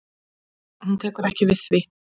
Hún tekur ekki við því.